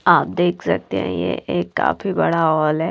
आप देख सकते हैं ये एक काफी बड़ा हॉल है।